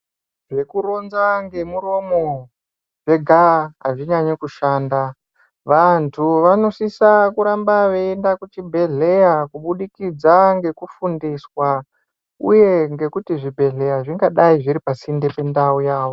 Zvekuronza ngemuromo zvega azvinyanyi kushanda, vantu vanosisa kuramba veienda kuchibhedhleya kubudikidza ngekufundiswa uye ngekuti zvibhedhleya zvingadai zviri pasinde pendau yawo.